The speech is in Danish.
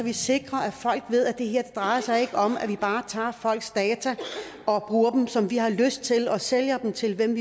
vi sikrer at folk ved at det her ikke drejer sig om at man bare tager folks data og bruger dem som man har lyst til og sælger dem til hvem